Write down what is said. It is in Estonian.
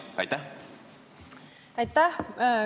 Aitäh!